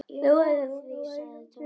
Lóa-Lóa var að jafna sig.